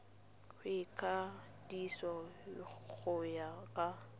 go ikwadisa go ya ka